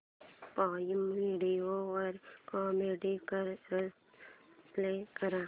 prime Video वर Comicstaan play कर